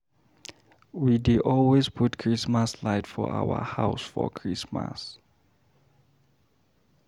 We dey always put Chrismas light for our house for Christmas.